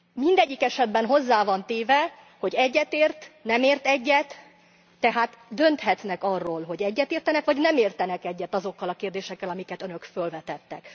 Mindegyik esetben hozzá van téve, hogy egyetért, nem ért egyet, tehát dönthetnek arról, hogy egyetértenek vagy nem értenek egyet azokkal a kérdésekkel, amiket Önök fölvetettek.